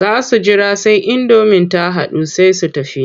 Za su jira sai indomin ta dahu sai su tafi.